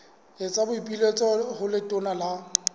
etsa boipiletso ho letona la